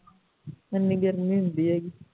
ਏਨੀ ਗਰਮੀ ਹੁੰਦੀ ਹੈ ਗੀ